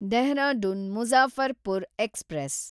Dehradun Muzaffarpur express